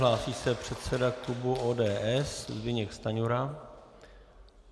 Hlásí se předseda klubu ODS Zbyněk Stanjura.